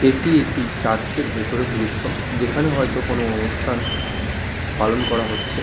এটি একটি চার্চ -এর ভেতরের দৃশ্য। যেখানে হয়তো কোনো অনুষ্ঠান পালন করা হচ্ছে।